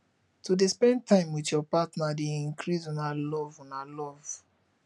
to dey spend time wit your partner dey increase una love una love